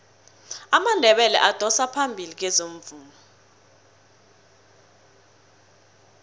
amandebele adosa phambili kwezomvumo